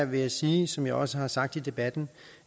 vil jeg sige som jeg også har sagt i debatten